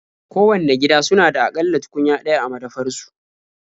Kowanne gida suna da a ƙalla tukunya ɗaya a madafar su.